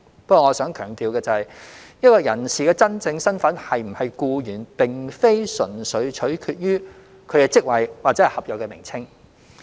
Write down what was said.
不過，我想強調的是，一名人士的真正身份是否僱員，並非純粹取決於其職位或合約名稱。